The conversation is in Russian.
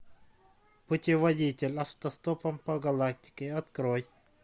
путеводитель автостопом по галактике открой